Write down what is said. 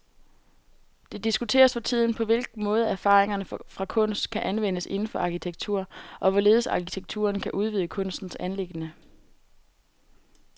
Det diskuteres for tiden, på hvilken måde erfaringer fra kunst kan anvendes inden for arkitektur, og hvorledes arkitekturen kan udvide kunstens anliggende.